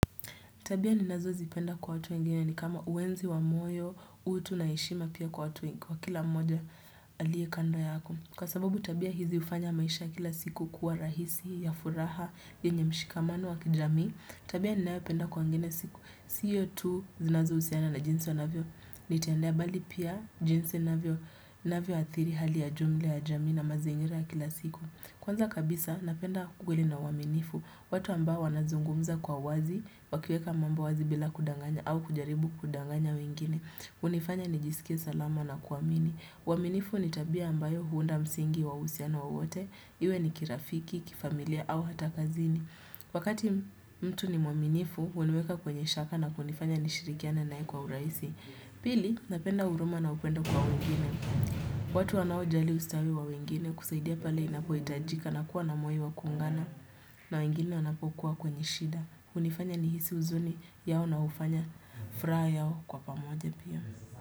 Tabia ninazozipenda kwa watu wengine ni kama uenzi wa moyo, utu na heshima pia kwa watu kwakila mmoja aliekando yako. Kwa sababu tabia hizi hufanya maisha kila siku kuwa rahisi, ya furaha, yenye mshikamano wa kijamii, tabia ninaopenda kwa wengine siku. Siyo tu zinazohusiana na jinsi wanavyo nitendea bali pia jinsi navyo athiri hali ya jumla ya jamii na mazingira ya kila siku. Kwanza kabisa, napenda ukweli na uaminifu, watu ambao wanazungumza kwa wazi, wakieka mambo wazi bila kudanganya au kujaribu kudanganya wengine, hunifanya ni jisikie salama na kuamini. Uaminifu ni tabia ambayo huunda msingi wa uhusiano wowote, iwe ni kirafiki, kifamilia au hata kazini. Wakati mtu ni mwaminifu, uniweka kwenye shaka na kunifanya nishirikiane naye kwa uraisi. Pili napenda huruma na upendo kwa wengine watu wanaojali ustawi wa wengine kusaidia pale inapoitajika na kuwa namoyo wa kuungana na wengine anapokuwa kwenye shida hunifanya nihisi uzuni yao na hufanya furaha yao kwa pamoja pia.